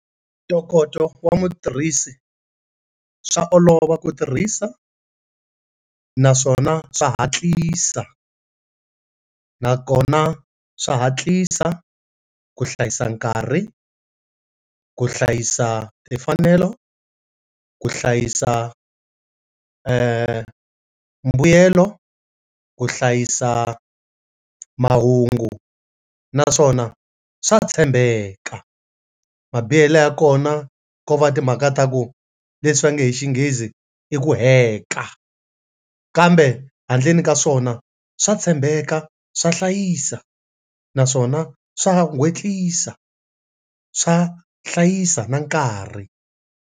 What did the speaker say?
Ntokoto wa mutirhisi swa olova ku tirhisa naswona swa hatlisa nakona swa hatlisa ku hlayisa nkarhi, ku hlayisa timfanelo, ku hlayisa eeh mbuyelo, ku hlayisa mahungu naswona swa tshembeka mabihele ya kona ko va timhaka ta ku leswi va nge hi Xinghezi i ku heka kambe handleni ka swona swa tshembeka swa hlayisa naswona swa hatlisa swa hlayisa na nkarhi.